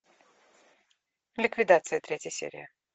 ликвидация третья серия